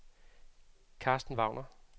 Karsten Wagner